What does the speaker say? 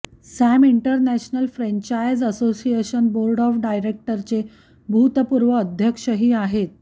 Sam international franchise association board of डायरेक्टर्सचे भूतपूर्व अध्यक्षही आहेत